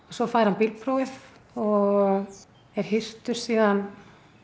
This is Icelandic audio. svo fær hann bílprófið og er hirtur síðan